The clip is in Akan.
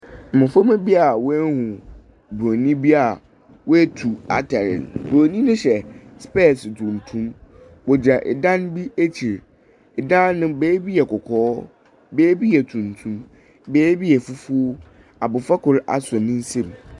Mmɔframma bi a wɔahunu Buroni bi a wɔatu atare no. Buroni no hyɛ spɛɛse tuntum. Ↄgyina ɛdan bi ekyir. ℇdan no beebi yɛ kɔkɔɔ, beebi yɛ tuntum, beebi yɛ fufuo. Abɔfra kor asɔ ne nsam.